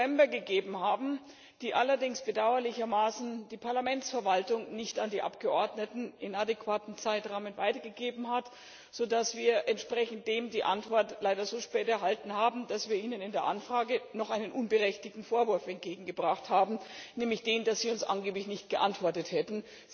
5. November gegeben haben, die allerdings bedauerlicherweise die Parlamentsverwaltung nicht im adäquaten Zeitrahmen an die Abgeordneten weitergegeben hat, sodass wir dementsprechend die Antwort leider so spät erhalten haben, dass wir Ihnen in der Anfrage noch einen unberechtigten Vorwurf entgegengebracht haben, nämlich den, dass Sie uns angeblich nicht geantwortet hätten.